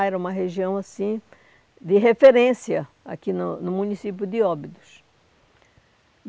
Ah, era uma região assim de referência aqui no no município de Óbidos.